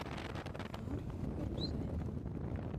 ар русайфа